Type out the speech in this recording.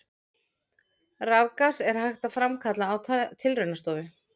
Rafgas er hægt að framkalla á tilraunastofu.